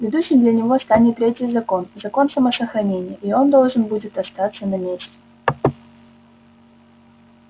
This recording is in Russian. ведущим для него станет третий закон закон самосохранения и он должен будет остаться на месте